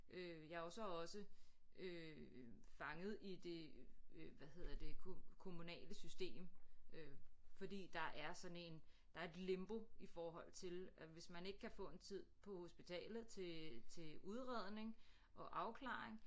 Øh jeg er jo så også øh fanget i det øh hvad hedder det kommunale system øh fordi der er sådan en der er et limbo i forhold til at hvis man ikke kan få en tid på hospitalet til til udredning og afklaring